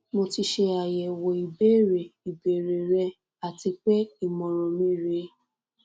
mo ti se ayewo ibere ibere re ati pe imoran mi re